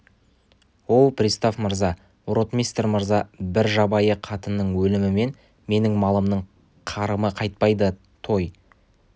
оу пристав мырза ротмистр мырза бір жабайы қатынның өлімімен менің малымның қарымы қайтпайды той